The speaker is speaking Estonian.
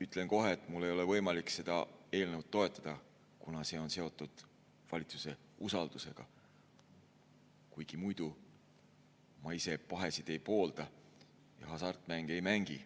Ütlen kohe, et mul ei ole võimalik seda eelnõu toetada, kuna see on seotud valitsuse usaldamisega, kuigi muidu ma ise pahesid ei poolda ja hasartmänge ei mängi.